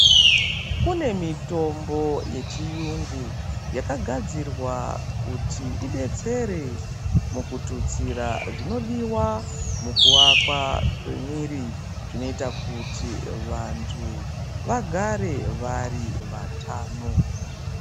Kune mitombo yechiyungu yakagadzirwa kuti idetsere mukututsira zvinodiwa mukuakwa kwemwiiri. Zvinoita kuti vantu vagare vari vatano.